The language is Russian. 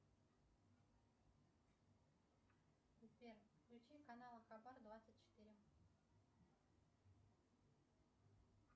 сбер включи канал хабар двадцать четыре